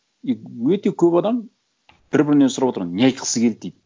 и өте көп адам бір бірінен сұрап отырған не айтқысы келді дейді